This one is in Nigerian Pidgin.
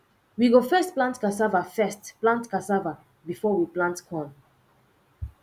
we go first plant casava first plant casava before we plant corn